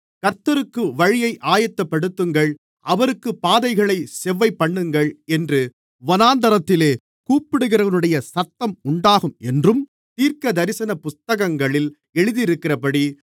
கர்த்தருக்கு வழியை ஆயத்தப்படுத்துங்கள் அவருக்குப் பாதைகளைச் செவ்வைபண்ணுங்கள் என்று வனாந்திரத்திலே கூப்பிடுகிறவனுடைய சத்தம் உண்டாகும் என்றும் தீர்க்கதரிசன புத்தகங்களில் எழுதியிருக்கிறபடி